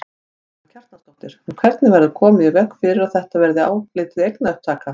Karen Kjartansdóttir: En hvernig verður komið í veg fyrir að þetta verði álitið eignaupptaka?